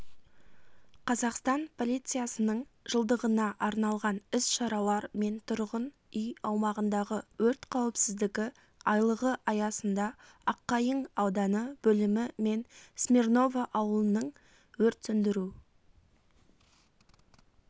қазақстан полициясының жылдығына арналған іс-шаралар мен тұрғын үй аумағындағы өрт қауіпсіздігі айлығы аясында аққайың ауданы бөлімі мен смирново ауылының өрт сөндіру